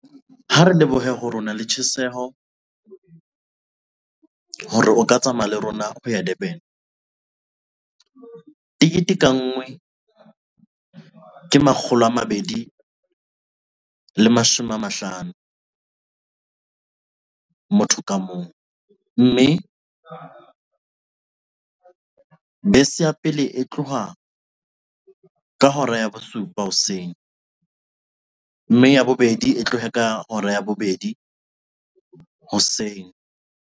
Ha re lebohe hore ona le tjheseho hore o ka tsamaya le rona ho ya Durban. Tekete ka nngwe ke makgolo a mabedi le mashome a mahlano. Motho ka mong, mme bese ya pele e tloha ka hora ya bosupa hoseng, mme ya bobedi e tloha ka hora ya bobedi hoseng.